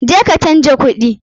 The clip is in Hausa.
Je ka canja kuɗi!